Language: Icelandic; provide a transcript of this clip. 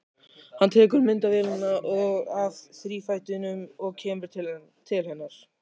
Hann tekur myndavélina af þrífætinum og kemur til hennar.